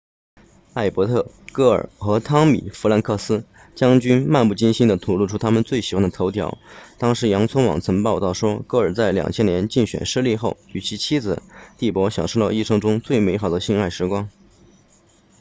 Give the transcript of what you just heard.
艾伯特戈尔和汤米弗兰克斯将军漫不经心地吐露出他们最喜欢的头条当时洋葱网曾报道说戈尔在2000年竞选失利后与其妻子蒂珀享受了一生中最美好的性爱时光